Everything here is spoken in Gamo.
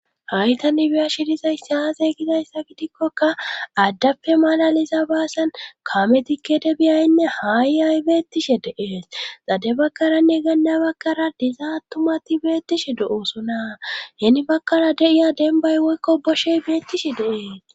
Hay tani biyashi dizay saaze gidayssa gidikkoka addappe malaliza baasan kaametikkede biyaynne haaiay beettishe deees xade bakkaranne ganda bakkara diza tumati beettishe do7oosonaa heeni bakkara deiya denbay woykko boshey beettishe deees